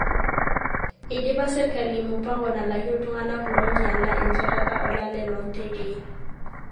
Eidipa serkali mupango nalaki iltunganak loo nyiala enjatata olale loo ntekei.